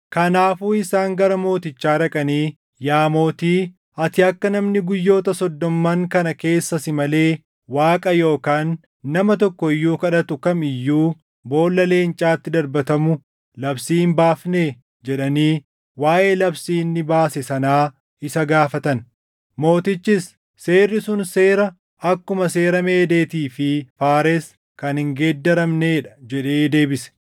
Kanaafuu isaan gara mootichaa dhaqanii, “Yaa mootii, ati akka namni guyyoota soddomman kana keessa si malee Waaqa yookaan nama tokko iyyuu kadhatu kam iyyuu boolla leencaatti darbatamu labsii hin baafnee?” jedhanii waaʼee labsii inni baase sanaa isa gaafatan. Mootichis, “Seerri sun seera akkuma seera Meedeetii fi Faares kan hin geeddaramnee dha” jedhee deebise.